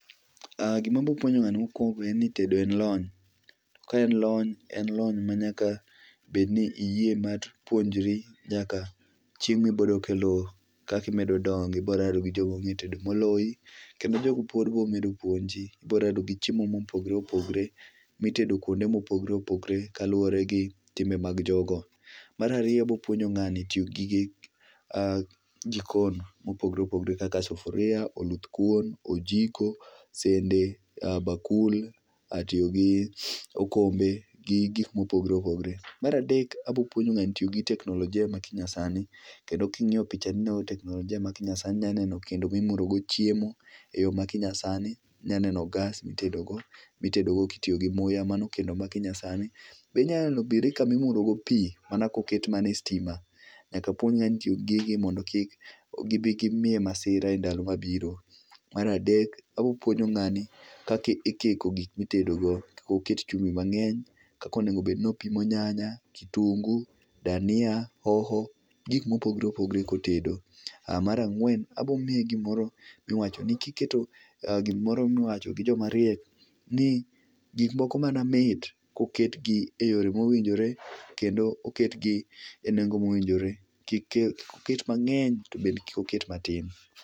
gimabopuonja ngani mokuongo en ni tedo en lony kaen en lony en lony manyakabedni ni iyie mar puonjori nyaka chieng mibodok e loo kaka imedo dongo ibo rado gi jo monge tedo moloyi kendo jogo pod bo medo puonji ibo rado gi chiemo mopogore opogore mitedo kuonde mopogore opogore kaluwore gi timbe mag jogo. Marariyo abo puonjo ng'ani tiyogi gige jikon mopogore opogore kaka sufuria oluthkuon , ojiko, sende, bakul, tiyogi okombe gi gik mopogore opogore maradek abo puonjo ngani tiyo gi teknolojia manyasani kendo ki ng'iya picha ni no ineno teknolojia ma kinyasani inaneno kendo mimuro go chiemo e yoo ma kinyasani inyaneno gas mitedogo kitiyo gi muya mano kendo ma kinyasani be inyaneno birika mimuro go pii mana koket mana e stima nyakapuonj ngani tiyo gi gigi mondo kik gi bii gi miye masira e ndalo mabiro maradek abopuonjo ngani kaka ikiko gik mitedego kik oket chumbi mangeny kaka onego obed ni opimo nyanya kitungu dania hoho gi gik mopogore opogore kotedo marangwen abo miye gimoro miwacho gi jo mariek ni gik moko mana mit ko ket gi e yore mowinjore kendo oket gi e nengo mowinjore kik ket mangeny tobende kik oket matin